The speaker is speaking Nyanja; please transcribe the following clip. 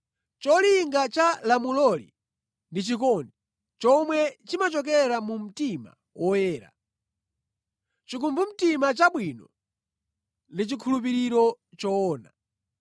Cholinga cha lamuloli ndi chikondi, chomwe chimachokera mu mtima woyera, chikumbumtima chabwino ndi chikhulupiriro choona.